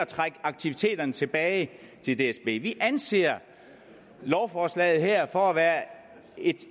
trække aktiviteterne tilbage til dsb vi anser lovforslaget her for at være et